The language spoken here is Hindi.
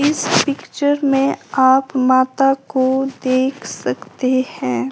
इस पिक्चर में आप माता को देख सकते हैं।